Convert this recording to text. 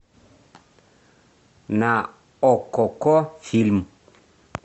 на оккоко фильм